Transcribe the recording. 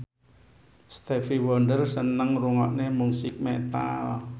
Stevie Wonder seneng ngrungokne musik metal